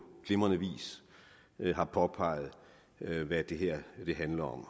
glimrende vis har påpeget hvad det her handler om